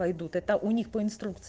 пойдут это у них по инструкции